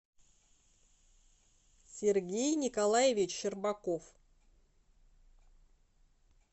сергей николаевич щербаков